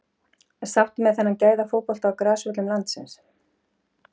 Sáttir með þennan gæða fótbolta á grasvöllum landsins?